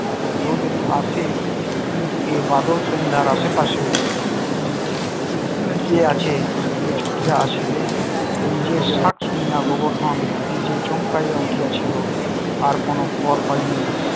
তো কেউ যদি আসে কিন্তু এ বাদল সন্ধার আশেপাশে উম কে আছে থাকলে ছুটিয়া আসিবে নিজের শুনিয়া গোবর্ধন নিজে চমকাইয়া উঠেছিল আর কোন ফল হয়নি